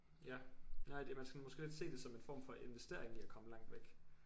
Ja nej det man skal måske lidt se det som en form for investering i at komme langt væk